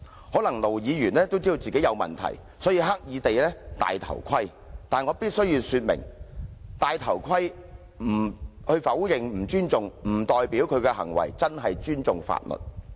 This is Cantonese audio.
可能盧議員也知道自己有問題，所以刻意"戴頭盔"。但我必須說明，"戴頭盔"否認不尊重，並不代表他的行為真正尊重法律。